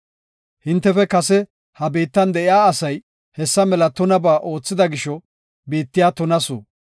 “Hintefe kase ha biittan de7ida asay hessa mela tunabaa oothida gisho, biittiya tunasu.